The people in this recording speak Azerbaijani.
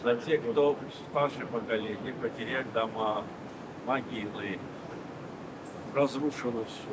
Hə, kim ki, böyük nəsil itirib evlərini, qəbirlərini dağıtmışdılar.